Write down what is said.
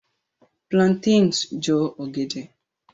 Plantains Jọ ọgẹdẹ.